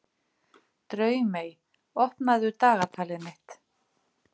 Draumey, opnaðu dagatalið mitt.